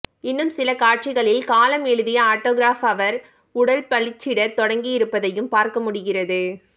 இன்னும் சில காட்சிகளில் காலம் எழுதிய ஆட்டோகிராஃப் அவர் உடலில் பளிச்சிடத் தொடங்கியிருப்பதையும் பார்க்க முடிகிறது